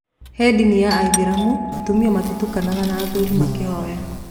He ndini ya aithĩramu atumia matitukanaga na athuri makĩhoya.